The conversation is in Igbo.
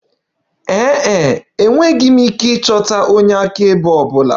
Ee e, enweghị m ike ịchọta onye akaebe ọ bụla.